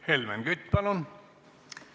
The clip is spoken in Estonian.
Helmen Kütt, palun!